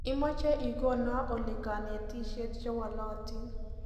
imache igono oli kanetishet chewolotin